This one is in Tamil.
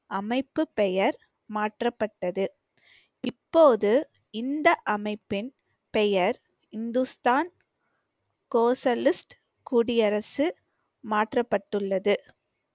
அமைப்பு பெயர் மாற்றப்பட்டது இப்போது இந்த அமைப்பின் பெயர் இந்துஸ்தான் சோசலிஸ்ட் குடியரசு மாற்றப்பட்டுள்ளது